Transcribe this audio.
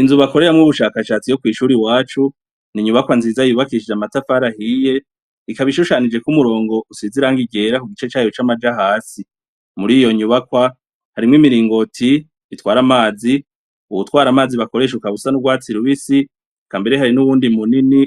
Inzu bakoreramwo ubushakashatsi yo kw'ishuri iwacu ni inyubakwa nziza yubakishije amatafari ahiye, ikaba ishushanije ko umurongo usize irangi ryera ku gice cayo c'amaja hasi. Muri iyo nyubakwa, harimwo imiringoti itwara amazi, uwutwara amazi ukaba usa n'urwatsi rubisi, eka mbere hari n'uwundi munini